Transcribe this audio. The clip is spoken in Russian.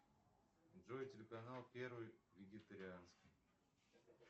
джой телеканал первый вегетарианский